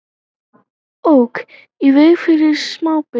Ók í veg fyrir smábíl